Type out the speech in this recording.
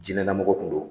Diinɛlamɔgɔ kun don